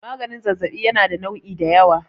maganin zazzabi yana da nu'i da yawa